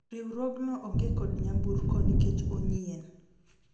riwruogno onge kod nyamburko nikech onyien